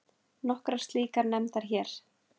Nokkrar slíkar nefndar hér